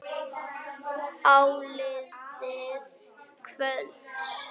Áliðið kvölds.